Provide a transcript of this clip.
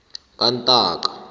kantaka